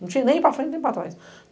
Não tinha nem para frente, nem para trás.